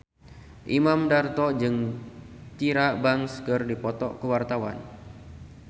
Imam Darto jeung Tyra Banks keur dipoto ku wartawan